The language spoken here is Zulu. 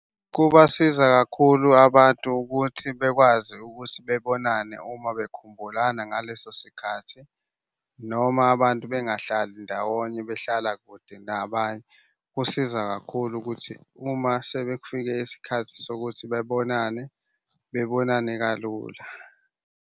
Kubasiza kakhulu abantu ukuthi bekwazi ukuthi bebonane uma bekhumbulana ngaleso sikhathi, noma abantu bengahlali ndawonye behlala kude nabanye. Kusiza kakhulu ukuthi uma sebefike isikhathi sokuthi bebonane bebonane kalula.